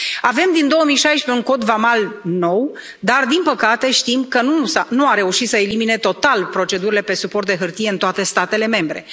Avem din 2016 un Cod vamal nou, dar din păcate știm că nu a reușit să elimine total procedurile pe suport de hârtie în toate statele membre.